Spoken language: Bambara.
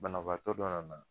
Banabaatɔ dɔ nana.